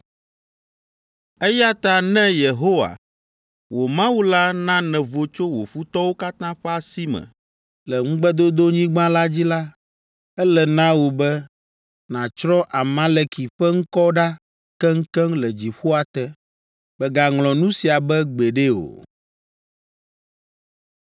eya ta ne Yehowa, wò Mawu la na nèvo tso wò futɔwo katã ƒe asi me le ŋugbedodonyigba la dzi la, ele na wò be nàtsrɔ̃ Amaleki ƒe ŋkɔ ɖa keŋkeŋ le dziƒoa te. Mègaŋlɔ nu sia be gbeɖe o.”